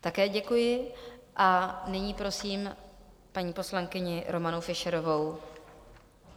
Také děkuji a nyní prosím paní poslankyni Romanu Fischerovou.